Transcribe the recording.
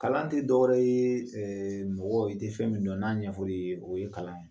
Kalan tɛ dɔw ye mɔgɔw i tɛ fɛn min dɔn n'a ɲɛfɔra i ye o ye kalan ye